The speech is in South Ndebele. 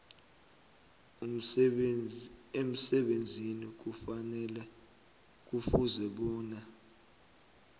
emsebenzini kufuze bona